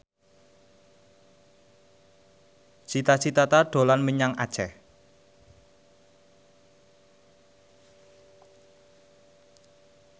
Cita Citata dolan menyang Aceh